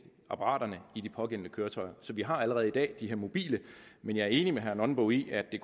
apparaterne i de pågældende køretøjer så vi har allerede i dag de her mobile men jeg er enig med herre nonbo i at det